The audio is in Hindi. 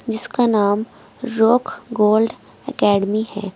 जिसका नाम रॉक गोल्ड एकेडमी है।